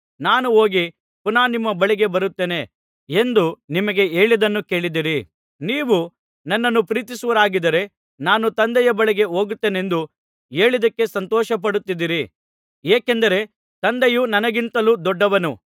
ನಾನು ಹೋಗಿ ಪುನಃ ನಿಮ್ಮ ಬಳಿಗೆ ಬರುತ್ತೇನೆ ಎಂದು ನಿಮಗೆ ಹೇಳಿದ್ದನ್ನು ಕೇಳಿದ್ದೀರಿ ನೀವು ನನ್ನನ್ನು ಪ್ರೀತಿಸುವವರಾಗಿದ್ದರೆ ನಾನು ತಂದೆಯ ಬಳಿಗೆ ಹೋಗುತ್ತೇನೆಂದು ಹೇಳಿದ್ದಕ್ಕೆ ಸಂತೋಷಪಡುತ್ತಿದ್ದೀರಿ ಏಕೆಂದರೆ ತಂದೆಯು ನನಗಿಂತಲೂ ದೊಡ್ಡವನು